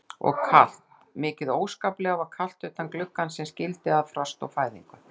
Og kalt, mikið óskaplega var kalt utan gluggans sem skildi að frost og fæðingu.